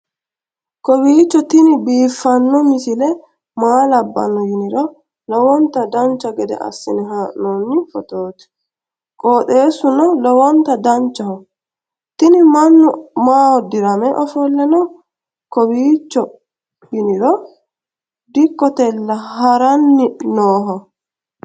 kowiicho tini biiffanno misile maa labbanno yiniro lowonta dancha gede assine haa'noonni foototi qoxeessuno lowonta danachaho. tini mannu maaho dirame ofolle no kowiicho yiniro dikkotella haranni nooho